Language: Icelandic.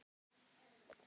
Fjórum sinnum?